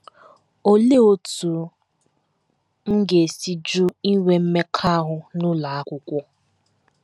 Olee Otú M Ga - esi Jụ Inwe Mmekọahụ n’Ụlọ Akwụkwọ?